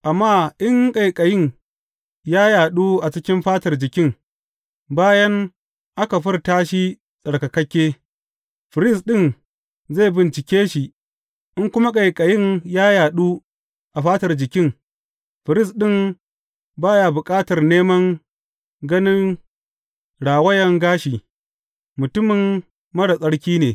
Amma in ƙaiƙayin ya yaɗu a cikin fatar jikin bayan aka furta shi tsarkakakke, firist ɗin zai bincike shi, in kuma ƙaiƙayin ya yaɗu a fatar jikin, firist ɗin ba ya bukatar neman ganin rawayan gashi; mutumin marar tsarki ne.